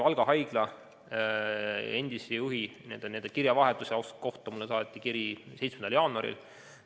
Valga Haigla endise juhi ja tema kirjavahetuse kohta saadeti mulle kiri 7. jaanuaril.